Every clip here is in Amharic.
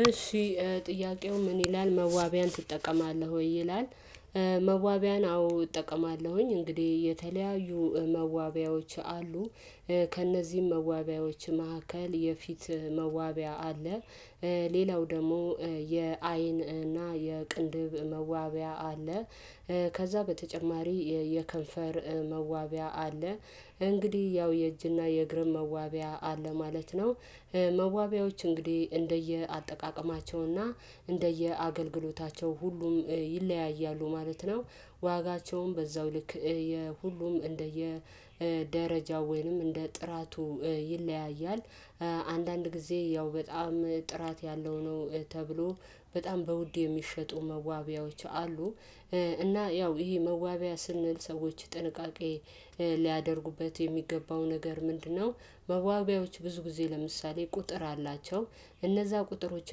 እሺ ጥያቄው ምን ይላል መዋቢያን ትጠቀማለህ ወይ ይላል? መዋቢያን አዎ እጠቀማለሁኝ እንግዲህ የተለያዩ መዋቢያዎች አሉ ከእነዚህም መዋቢያዎች መካከል የፊት መዋቢያ አለ። ሌላው ደግሞ የአይን እና የቅንድብ መዋቢያ አለ። ከዛ በተጨማሪ የከንፈር መዋቢያ አለ። እንግዲህ ያው የእጅና የእግርም መዋቢያ አለ ማለት ነው። መዋቢያዎች እንግዲህ እንደየአጠቃቀማቸውና እንደየአገልግሎታቸው ሁሉም ይለያያሉ ማለት ነው። ዋጋቸውም በዛው ልክ የሁሉም እንደየ ደረጃው ወይንም እንደ ጥራቱ ይለያያል። አንዳንድ ጊዜ ያው በጣም ጥራት ያለው ነው ተብሎ በጣም በውድ የሚሸጡ መዋቢያዎች አሉ። እና ያው መዋቢያ ስንል ሰዎች ጥንቃቄ ሊያደርጉበት የሚገባው ነገር ምንድነው? መዋቢያዎች ብዙ ጊዜ ለምሳሌ ቁጥር አላቸው እነዛ ቁጥሮች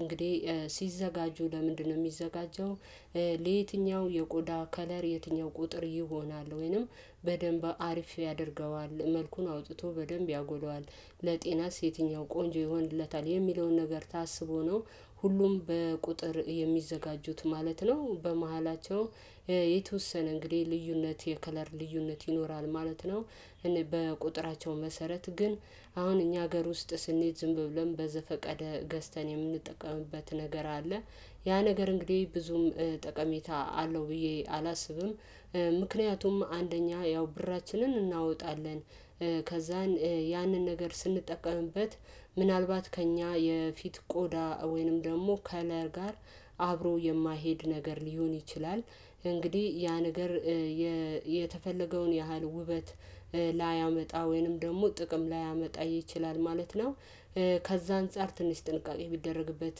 እንግዲህ ሲዘጋጁ ለምንድነው የሚዘጋጀው? ለየትኛው የቆዳ ከለር የትኛው ቁጥር ይሆናል ወይንም በደንብ አሪፍ ያደርገዋል መልኩን አውጥቶ በደንብ ያጎለዋል። ለጤናስ የትኛው ቆንጆ ይሆንለታል የሚለውን ነገር ታስቦ ነው። ሁሉም በቁጥር የሚዘጋጁት ማለት ነው። በመሃላቸው የተወሰነ እንግዲህ ልዩነት የከለር ልዩነት ይኖራል ማለት ነው። በቁጥራቸው መሰረት ግን አሁን እኛ ሀገር ውስጥ ስንሄድ ዝም ብሎም በዘፈቀደ ገዝተን የምንጠቀምበት ነገር አለ። ያ ነገር እንግዲህ ብዙም ጠቀሜታ አለው ብዬ አላስብም። ምክንያቱም አንደኛ ያው ብራችንን እናወጣለን። ከዛ ያንን ነገር ስንጠቀምበት ምናልባት ከእኛ የፊት ቆዳ ወይንም ደግሞ ከለር ጋር አብሮ የማይሄድ ነገር ሊሆን ይችላል። እንግዲህ ያ ነገር የተፈለገውን ያህል ውበት ላያመጣ ወይንም ደግሞ ጥቅም ላያመጣ ይችላል ማለት ነው። ከዛ አንፃር ትንሽ ጥንቃቄ ቢደረግበት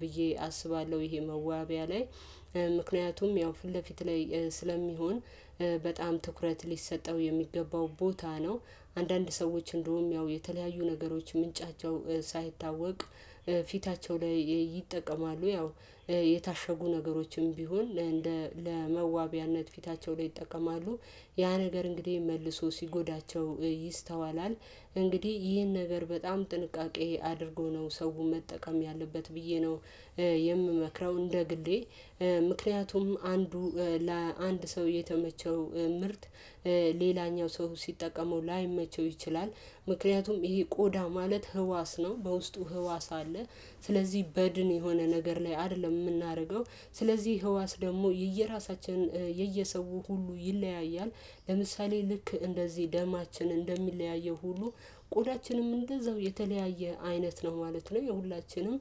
ብዬ አስባለሁ። ይሄ መዋቢያ ላይ ምክንያቱም ያው ፊት ለፊት ላይ ስለሚሆን በጣም ትኩረት ሊሰጠው የሚገባው ቦታ ነው። አንዳንድ ሰዎች እንደውም ያው የተለያዩ ነገሮች ምንጫቸው ሳይታወቅ ፊታቸው ላይ ይጠቀማሉ። ያው የታሸጉ ነገሮችም ቢሆን ለመዋቢያነት ፊታቸው ላይ ይጠቀማሉ። ያ ነገር እንግዲህ መልሶ ሲጎዳቸው ይስተዋላል። እንግዲህ ይህን ነገር በጣም ጥንቃቄ አድርጎ ነው ሰው መጠቀም ያለበት ብዬ ነው የምመክረው እንደ ግሌ። ምክንያቱም አንዱ ለአንድ ሰው የተመቸው ሌላኛው ሰው ሲጠቀመው ላይመቸው ይችላል። ምክንያቱም ይሄ ቆዳ ማለት ህዋስ ነው በውስጡ ህዋስ አለ። ስለዚህ በድን የሆነ ነገር ላይ አይደለም የምናደርገው። ስለዚህ ህዋስ ደግሞ የየራሳችን የየሰው ሁሉ ይለያያል። ለምሳሌ ልክ እንደዚህ ደማችን እንደሚለያየው ሁሉ ቆዳችንም እንደዛው የተለያየ አይነት ነው ማለት ነው። የሁላችንም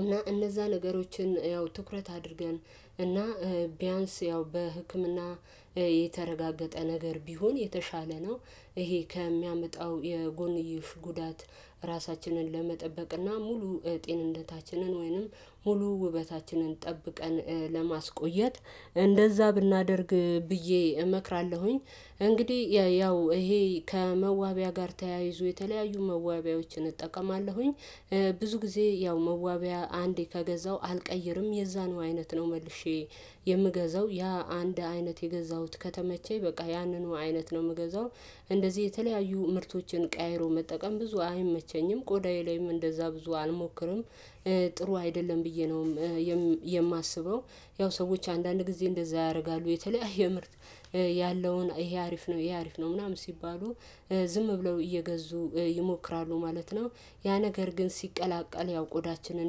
እና እነዛን ነገሮችን ያው ትኩረት አድርገን እና ቢያንስ ያው በህክምና የተረጋገጠ ነገር ቢሆን የተሻለ ነው። ይሄ ከሚያመጣው የጎንዮሽ ጉዳት ራሳችንን ለመጠበቅና ሙሉ ጤንነታችንን ወይንም ሙሉ ውበታችንን ጠብቀን ለማስቆየት እንደዛ ብናደርግ ብዬ እመክራለሁኝ። እንግዲህ ያው ይሄ ከመዋቢያ ጋር ተያይዞ የተለያዩ መዋቢያዎችን እጠቀማለሁኝ። ብዙ ጊዜ ያው መዋቢያ አንዴ ከገዛው አልቀይርም የዛኑ አይነት ነው መልሼ የምገዛው ያ አንድ አይነት የገዛሁት ከተመቸኝ በቃ ያንኑ አይነት ነው የምገዛው። እንደዚህ የተለያዩ ምርቶችን ቀያይሮ መጠቀም ብዙ አይመቸኝም ቆዳዬ ላይም እንደዛ ብዙ አልሞክርም። ጥሩ አይደለም ብዬ ነውም የማስበው። ያው ሰዎች አንዳንድ ጊዜ እንደዛ ያደርጋሉ የተለያየ ምርት ያለውን ይሄ አሪፍ ነው ይሄ አሪፍ ነው ምናምን ሲባሉ ዝም ብለው እየገዙ ይሞክራሉ ማለት ነው። ያ ነገር ግን ሲቀላቀል ያው ቆዳችንን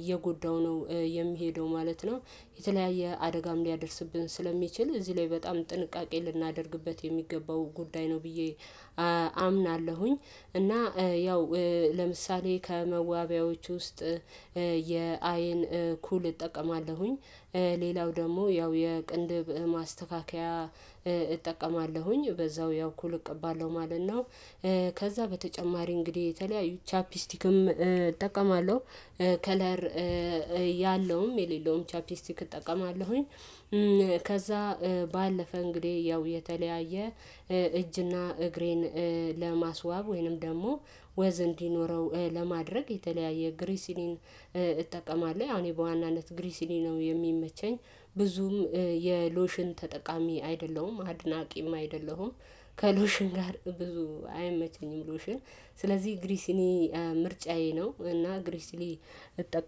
እየጎዳው ነው የሚሄደው ማለት ነው። የተለያየ አደጋም ሊያደርስብን ስለሚችል እዚህ ላይ በጣም ጥንቃቄ ልናደርግበት የሚገባው ጉዳይ ነው ብዬ አምናለሁኝ። እና ያው ለምሳሌ ከመዋቢያዎቹ ውስጥ የአይን ኩል እጠቀማለሁኝ። ሌላው ደግሞ ያው የቅንድብ ማስተካከያ እጠቀማለሁኝ በዛው ያው ኩል እቀባለሁ ማለት ነው። ከዛ በተጨማሪ እንግዲህ የተለያዩ ቻፒስቲክም እጠቀማለሁ። ከለር ያለውም የሌለውም ቻፕቲስቲክ እጠቀማለሁኝ። ከዛ ባለፈ እንግዲህ ያው የተለያየ እጅና እግሬን ለማስዋብ ወይንም ደግሞ ወዝ እንዲኖረው ለማድረግ የተለያየ ግሪሲሊን እጠቀማለሁ። ያው በዋናነት ግሪሲሊ ነው የሚመቸኝ። ብዙም የሎሽን ተጠቃሚ አይደለሁም አድናቂም አይደለሁም። ከሎሽን ጋር ብዙ አይመቸኝም ሎሽን ስለዚህ ግሪሲሊ ምርጫዬ ነው። እና ግሪሲሊ እጠቀም